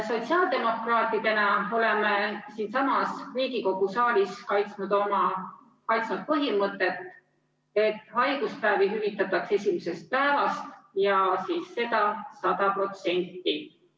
Sotsiaaldemokraatidena oleme siinsamas Riigikogu saalis kaitsmas põhimõtet, et haiguspäevi hüvitataks esimesest päevast ja 100%.